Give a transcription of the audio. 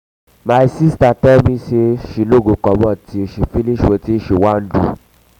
my sister tell me say she no go comot till she finish wetin she wan do